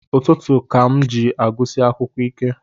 Ụtụtụ ka m ji agụsi akwukwọ ike